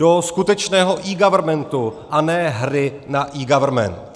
Do skutečného eGovernmentu, a ne hry na eGovernment.